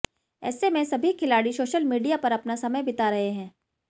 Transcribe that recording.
ऐसे में सभी खिलाड़ी सोशल मीडिया पर अपना समय बिता रहे हैं